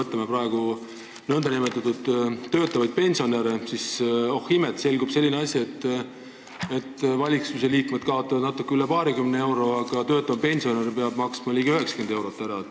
Võtame praegu töötavad pensionärid: oh imet, selgub selline asi, et valitsusliikmed kaotavad kuus natuke üle paarikümne euro, aga nii mõnigi töötav pensionär peab loobuma ligi 90 eurost.